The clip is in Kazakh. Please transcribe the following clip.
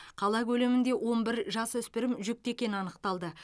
қала көлемінде он бір жасөспірім жүкті екені анықталды